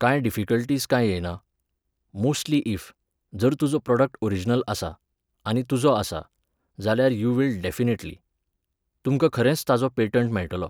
कांय डिफिकल्टिस कांय येयना. मोस्ट्ली इफ, जर तुजो प्रॉडक्ट ओरिजनल आसा, आनी तुजो आसा, जाल्यार यू विल डॅफिनेटली. तुमकां खरेंच ताचो पेटंट मेळटलो.